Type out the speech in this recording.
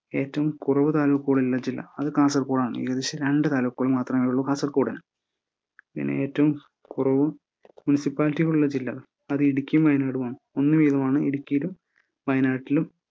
ഏറ്റവും കുറവ് താലൂക്കുകളുള്ള ജില്ലാ അത് കാസർഗോഡാണ് ഏകദേശം രണ്ട് താലൂക്കുകൾ മാത്രമേ ഉള്ളു കാസർകോടിന് പിന്നെ ഏറ്റവും കുറവ് മുനിസിപ്പാലിറ്റികളുള്ള ജില്ലാ അത് ഇടുക്കിയും വയനാടും ആണ് ഒന്ന് വീതമാണ് ഇടുക്കിയിലും വയനാട്ടിലും.